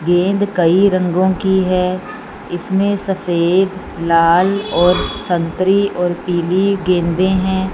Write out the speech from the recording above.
गेंद कई रंगों की है इसमें सफेद लाल और संतरी और पीली गेंदे हैं।